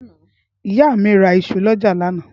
ìyá míí ra isu lọ́jà lánàá.